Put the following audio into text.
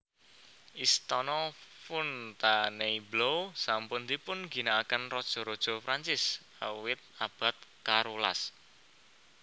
Istana Fontainebleau sampun dipun ginakaken raja raja Prancis awit abad karolas